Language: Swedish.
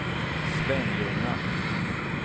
Svenljunga